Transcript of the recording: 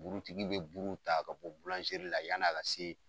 Buurutigi bɛ buru ta ka bɔ la yani a ka se